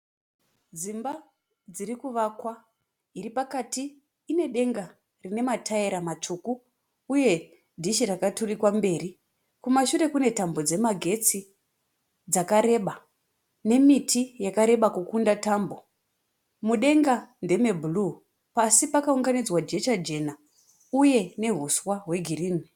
Dzimba dzirikuvakwa iripakati inedenga rinemataira matsvuku. Uye dhishi rakaturijwa mberi. Kumashuru kune tambo dzemagetsi dzakareba nemiti yakareba kudarika tambo. Mudenga ndeme bhuruu. Pasi pakaunganidzwa jecha jena uye nehuswa heegirinhi.